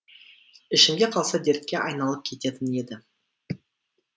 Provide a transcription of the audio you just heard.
ішімде қалса дертке айналып кететін еді